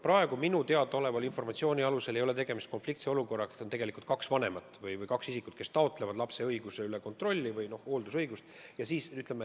Praegu minule teadaoleva informatsiooni alusel ei ole tegemist sellise konfliktse olukorraga, kus oleks kaks vanemat või kaks isikut, kes taotleksid lapse üle kontrolli või hooldusõigust.